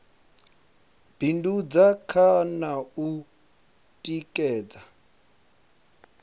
bindudza kha na u tikedza